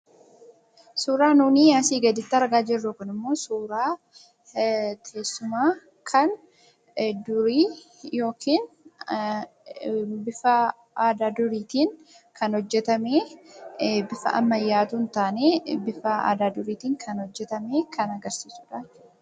Suuraan asiin gaditti argaa jirru kun immoo suura teessuma kan durii yookiin bifa aadaa duriitiin hojjetame. Bifa ammaayyaan osoo hin taane bifa aadaa duriitiin hojjetame kan agarsiifamedha.